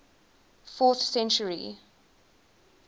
fourth century